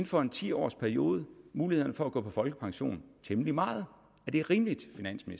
for en ti års periode muligheden for at gå på folkepension temmelig meget er det rimeligt